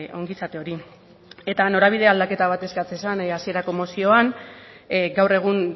ongizate hori eta norabide aldaketa bat eskatzen zen hasierako mozioan gaur egun